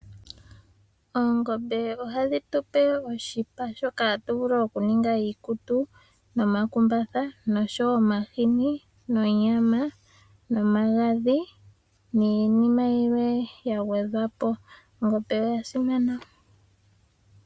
Oongombe ohadhi tupe oshipa shoka hatu vulu oku ninga iikutu nomakumbatha noshowo omahini, nonyama nomagadhi niinima yilwe ya gwedhwa po. Ongombe oya simana